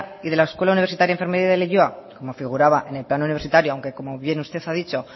y de la escuela universitaria de enfermería de leioa como figuraba en el plan universitario aunque como bien usted ha dicho